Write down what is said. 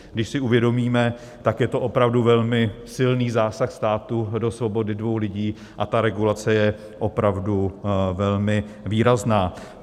Když si uvědomíme, tak je to opravdu velmi silný zásah státu do svobody dvou lidí a ta regulace je opravdu velmi výrazná.